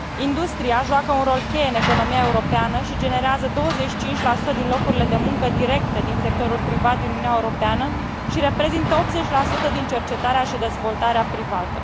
Industria joacă un rol cheie în economia europeană și generează 25 din locurile de muncă directe din sectorul privat din Uniunea Europeană și reprezintă 80 din cercetarea și dezvoltarea privată.